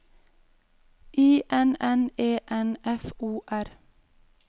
I N N E N F O R